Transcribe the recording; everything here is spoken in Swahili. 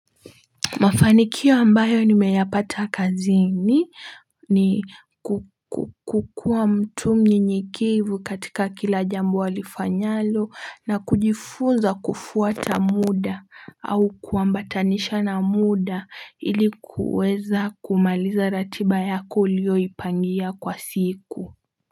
Mafanikio ambayo nimeyapata kazini ni kukukua mtu mnyenyekevu katika kila jambo walifanyalo na kujifunza kufuata muda au kuambatanisha na muda ili kuweza kumaliza ratiba yako uliyoipangia kwa siku.